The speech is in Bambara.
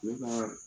Ne ka